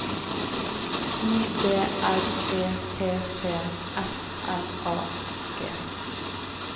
I D R E T T S L A G